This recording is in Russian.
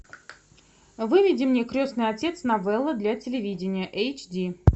выведи мне крестный отец новелла для телевидения эйч ди